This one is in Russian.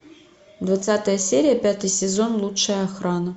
двадцатая серия пятый сезон лучшая охрана